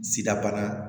Sidabana